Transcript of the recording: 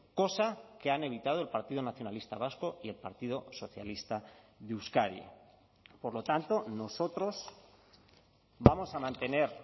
cosa que han evitado el partido nacionalista vasco y el partido socialista de euskadi por lo tanto nosotros vamos a mantener